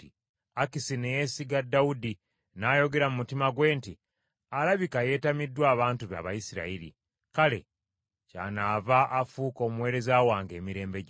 Akisi ne yeesiga Dawudi, n’ayogera mu mutima gwe nti, “Alabika yeetamiddwa abantu be Abayisirayiri, kale kyanaava afuuka omuweereza wange emirembe gyonna.”